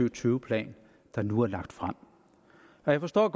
og tyve plan der nu er lagt frem jeg forstår